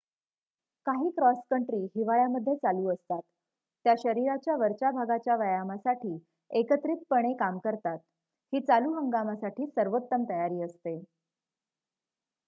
काही cross country हिवाळ्यामध्ये चालू असतात त्या शरीराच्या वरच्या भागाच्या व्यायामासाठी एकत्रितपणे काम करतात ही चालू हंगामासाठी सर्वोत्तम तयारी असते